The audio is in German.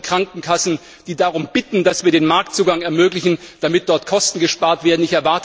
Wir haben Briefe von Krankenkassen, die darum bitten, dass wir den Marktzugang ermöglichen, damit dort Kosten gespart werden.